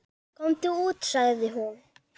Komum út, sagði hún.